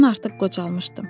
Mən artıq qocalmışdım.